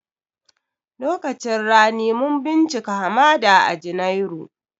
Lokacin rani mun bincika hamada a janairu